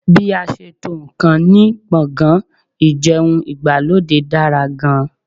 Bí a ṣe n tó ǹkan ní gbọ̀ngàn ìjẹun ìgbàlódé dára gan